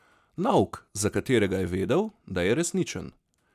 Nauk, za katerega je vedel, da je resničen.